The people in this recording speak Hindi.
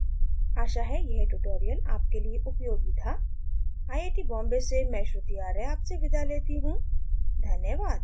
आशा है यह ट्यूटोरियल आपके लिए उपयोगी था आई आई टी बॉम्बे से मैं श्रुति आर्य आपसे विदा लेती हूँ धन्यवाद